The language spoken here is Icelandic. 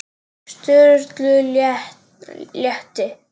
Sturlu létti.